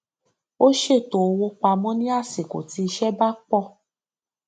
ó ṣètò owó pamọ ní àsìkò tí iṣé bá pò